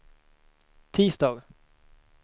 tisdag